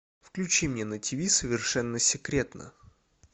включи мне на тиви совершенно секретно